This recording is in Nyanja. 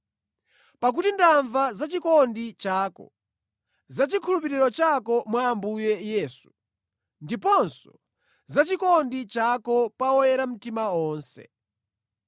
Pakuti ndamva za chikondi chako, za chikhulupiriro chako mwa Ambuye Yesu ndiponso za chikondi chako pa oyera mtima onse.